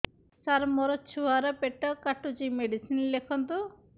ସାର ମୋର ଛୁଆ ର ପେଟ କାଟୁଚି ମେଡିସିନ ଲେଖନ୍ତୁ